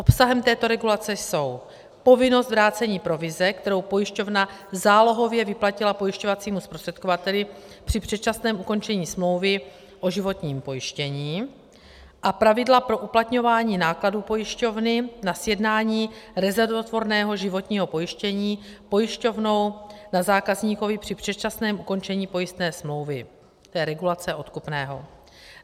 Obsahem této regulace jsou povinnost vrácení provize, kterou pojišťovna zálohově vyplatila pojišťovacímu zprostředkovateli při předčasném ukončení smlouvy o životním pojištění, a pravidla pro uplatňování nákladů pojišťovny na sjednání rezervotvorného životního pojištění pojišťovnou na zákazníkovi při předčasném ukončení pojistné smlouvy - to je regulace odkupného.